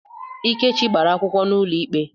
Ikechi gbara akwụkwọ n'ụlọikpe.